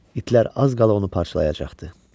İtlər az qala onu parçalayacaqdı.